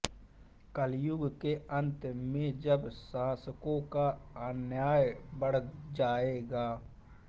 कलियुग के अन्त में जब शासकों का अन्याय बढ़ जायेगा